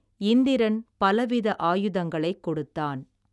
இந்திரன்பலவித ஆயுதங்களைக் கொடுத்தான்.